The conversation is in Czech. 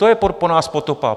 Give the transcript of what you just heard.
To je po nás potopa!